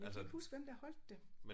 Jeg kan ikke huske hvem der holdt det